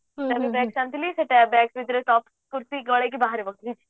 ସେ bag ରେ soft kurti ଗଲେଇକି ବାହାରେ ବସିବି